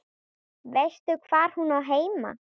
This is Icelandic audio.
Veistu hvar hún á heima?